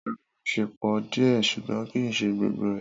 Rara, Mo ṣe pọ diẹ ṣugbọn kii ṣe gbogbo rẹ.